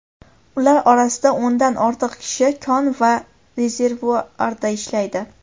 Ular orasida o‘ndan ortiq kishi kon va rezervuarda ishlaydi.